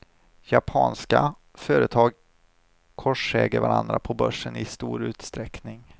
Japanska företag korsäger varandra på börsen i stor utsträckning.